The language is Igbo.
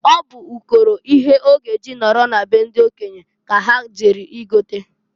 Ọ bụ ụkọrọ ihe ọ g' e ji nọrọ na be ndị okenye ka ha jere i gota.